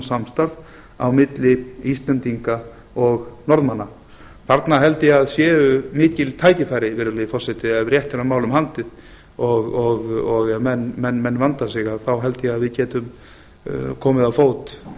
samstarf á milli íslendinga og norðmanna þarna held ég að séu mikil tækifæri virðulegi forseti ef rétt er á málum haldið og ef menn vanda sig þá held ég að við getum komið á fót